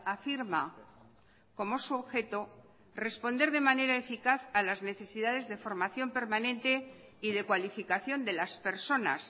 afirma como su objeto responder de manera eficaz a las necesidades de formación permanente y de cualificación de las personas